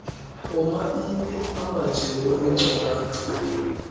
oomabini amajelo eenkcukacha